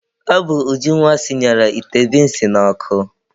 Ọ bụ Ujunwa sinyere ite binsi n'ọkụ.